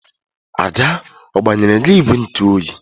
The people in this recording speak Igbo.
Ada ọ gbanyere gị ìgwè ntụoyi?